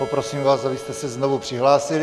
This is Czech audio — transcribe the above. Poprosím vás, abyste se znovu přihlásili.